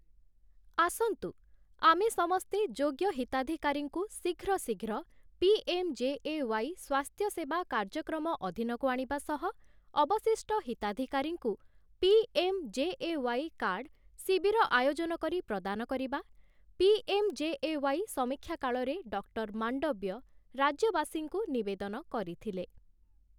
ଆସନ୍ତୁ ଆମେ ସମସ୍ତେ ଯୋଗ୍ୟ ହିତାଧିକାରୀଙ୍କୁ ଶୀଘ୍ର ଶୀଘ୍ର ପି.ଏମ୍‌.ଜେ.ଏ.ୱାଇ. ସ୍ୱାସ୍ଥ୍ୟସେବା କାର୍ଯ୍ୟକ୍ରମ ଅଧୀନକୁ ଆଣିବା ସହ ଅବଶିଷ୍ଟ ହିତାଧିକାରୀଙ୍କୁ ପି.ଏମ୍‌.ଜେ.ଏ.ୱାଇ. କାର୍ଡ଼ ଶିବିର ଆୟୋଜନ କରି ପ୍ରଦାନ କରିବା । ପି.ଏମ୍‌.ଜେ.ଏ.ୱାଇ. ସମୀକ୍ଷା କାଳରେ ଡକ୍ଟର ମାଣ୍ଡବ୍ୟ ରାଜ୍ୟବାସୀଙ୍କୁ ନିବେଦନ କରିଥିଲେ ।